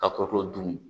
Ka kɔkɔ dun